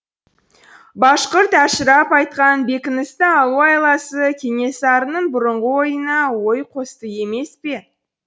башқұрт әшірап айтқан бекіністі алу айласы кенесарының бұрынғы ойына ой қосты емес пе